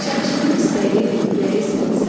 Şəmşirin istəyi, ürəyi sənsən.